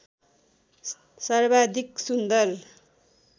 सर्वाधिक सुन्दर